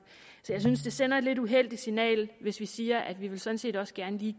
så jeg synes det sender et lidt uheldigt signal hvis vi siger at vi vi sådan set også gerne lige